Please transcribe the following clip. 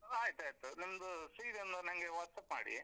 ಆಯ್ತಾಯ್ತು, ನಿಮ್ದು CV ಒಂದು ನನ್ಗೆ WhatsApp ಮಾಡಿ.